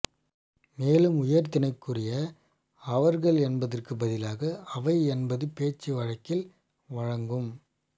மேலும் உயர்திணைக்குரிய அவர்கள் என்பதற்குப் பதிலாக அவை என்பது பேச்சு வழக்கில் வழங்கும்